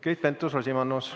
Keit Pentus-Rosimannus.